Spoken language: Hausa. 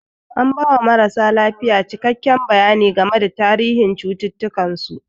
An ba wa marasa lafiya cikakken bayani game da tarihin cututtukan su.